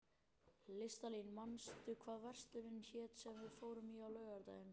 Listalín, manstu hvað verslunin hét sem við fórum í á laugardaginn?